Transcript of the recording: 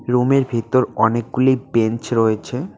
রুমের ভিতর অনেকগুলি বেঞ্চ রয়েছে।